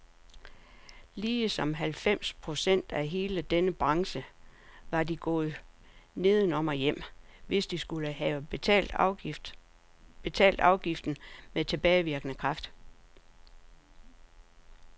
Ligesom halvfems procent af hele denne branche var de gået nedenom og hjem, hvis de skulle have betalt afgiften med tilbagevirkende kraft.